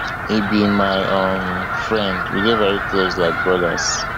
e be my um friend we dey veri close like brothers